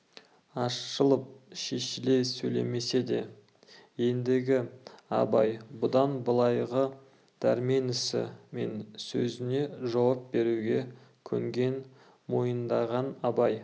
ашылып шешіле сөйлемесе де ендігі абай бұдан былайғы дәрмен ісі мен сөзіне жауап беруге көнген мойындаған абай